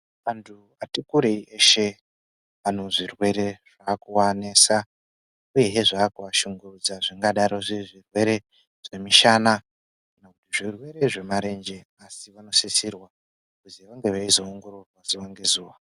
Vanthu vati kurei veshe vane zvirwere zvakuvanesa uyezve zvakuva shungurudza. Zvingadaro zviri zvirwere zvemishana nezvemarenje asi vanosisirwa kunge veizongororwa zuwa ngezuwa.